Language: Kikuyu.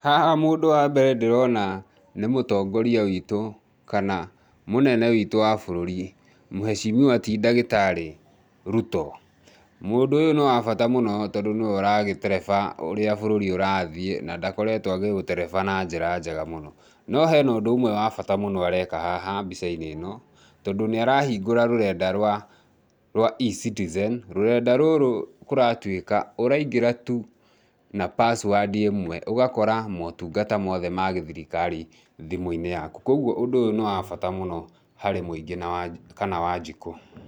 Haha mũndũ wa mbere ndĩrona ni mũtongoria witũ kana mũnene witũ wa bũrũri mheshimiwa ti ndagĩtarĩ Ruto. Mũndũ ũyũ nĩ wa bata mũno tondũ nĩ we ũragĩtereba urĩa bũrũri ũrathiĩ, na ndakoretwo agĩũtereba na njĩra njega mũno.No he na ũndũ ũmwe wa bata mũno areka haha mbica-inĩ ĩno, tondũ nĩ arahingũra rũrenda rwa eCitizen, rũrenda rũrũ kũratuĩka ũraingĩra tu na password ĩmwe ũgakora motungata mothe ma gĩthirikari thimũ-inĩ yaku. Kwoguo ũndũ ũyũ nĩ wa bata mũno harĩ mũingĩ kana wanjikũ.